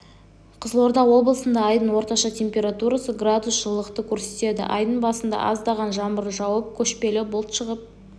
қызылорда облысында айдың орташа температурасы градус жылылықты көрсетеді айдың басында аздаған жаңбыр жауып көшпелі бұлт шығып